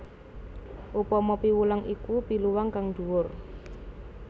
Upama piwulang iku piwulang kang dhuwur